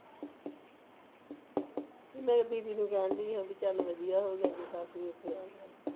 ਮੈਨੂੰ ਕਹਿਣ ਦਾਈ ਚੱਲ ਵਾਦੀਆਂ ਹੋ ਜਾਣਾ ਜੇ ਸੱਸ ਨੂੰ ਐਥੇ ਆ ਜਾਣਾ